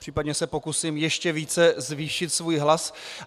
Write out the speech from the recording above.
Případně se pokusím ještě více zvýšit svůj hlas.